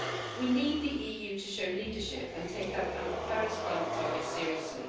We need the EU to show leadership and take our Paris climate targets seriously.